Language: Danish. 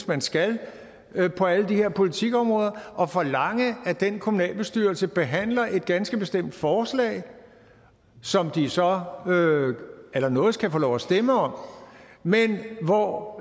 man skal på alle de her politikområder og forlange at den kommunalbestyrelse behandler et ganske bestemt forslag som de så allernådigst kan få lov at stemme om men hvor